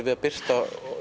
við birtum